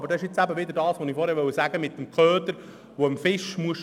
Hier kommt ins Spiel, was ich mit dem Köder gesagt habe.